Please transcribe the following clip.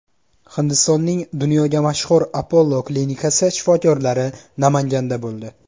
Hindistonning dunyoga mashhur Apollo klinikasi shifokorlari Namanganda bo‘ldi.